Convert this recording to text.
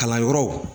Kalanyɔrɔw